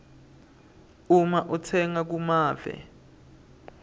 uma utsenga kumave